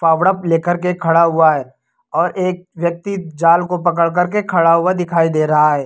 फावड़ा लेकर के खड़ा हुआ है और एक व्यक्ति जाल को पड़कर के खड़ा हुआ दिखाई दे रहा है।